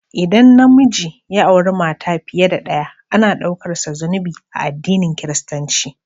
ldan na miji ya auri mata fiye da ɗaya, ana ɗaukarsa zunubi a adinin kiristinci.